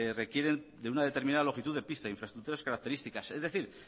requieren de una determinada longitud de pista infraestructuras características es decir